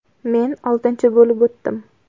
Men oltinchi bo‘lib o‘tdim.